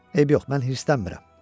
Eybi yox, mən hirslənmirəm.